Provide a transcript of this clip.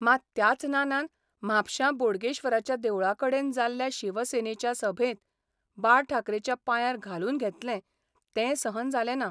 मात त्याच नानान म्हापश्यां बोडगेश्वराच्या देवळाकडेन जाल्ल्या शिवसेनेच्या सभेत बाळ ठाकरेच्या पांयार घालून घेतलें तें सहन जालें ना.